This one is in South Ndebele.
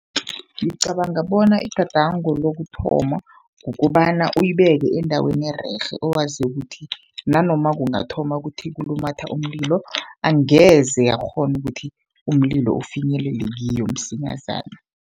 Ngicabanga bona igadango lokuthoma, kukobana uyibeke endaweni ererhe owaziko ukuthi nanoma kungathoma kuthi kulumatha umlilo, angeze yakghona ukuthi umlilo ufinyelele kiyo msinyazana.